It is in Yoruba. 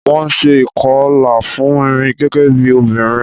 Wón ṣe ìkọlà fún mi, gẹ́gẹ́ bí obìnrin.